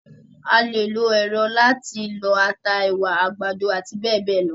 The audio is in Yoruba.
A lè lo èrọ láti lọ ata, ẹ̀wà, àgbàdo àti bẹ́ẹ̀bẹ́ẹ̀ lọ.